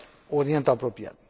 Orientul Apropiat.